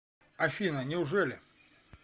афина неужели